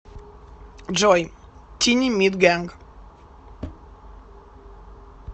джой тини мит гэнг